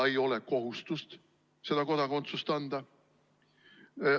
Ei ole kohustust kodakondsust anda.